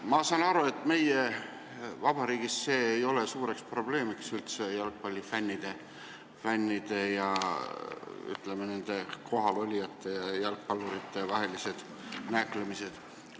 Ma saan aru, et meie vabariigis ei ole jalgpallifännide ja, ütleme, pealtvaatajate ja jalgpallurite vahelised nääklemised üldse probleem.